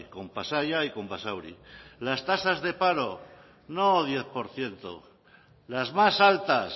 con pasaia y con basauri las tasas de paro no diez por ciento las más altas